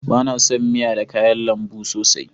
Ba na son miya da kayan lambu sosai